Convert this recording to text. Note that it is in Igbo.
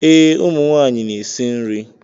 Ee, ụmụ nwanyị na-esi nri.